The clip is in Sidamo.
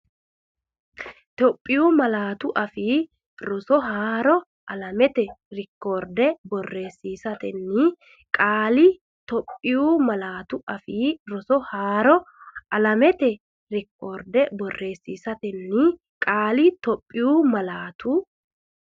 Itophiyu Malaatu Afii Roso Haaro alamete reekoorde borreessiisatenni qeeli Itophiyu Malaatu Afii Roso Haaro alamete reekoorde borreessiisatenni qeeli Itophiyu Malaatu.